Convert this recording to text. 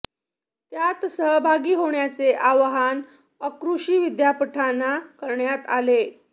त्यात सहभागी होण्याचे आवाहन अकृषी विद्यापीठांना करण्यात आले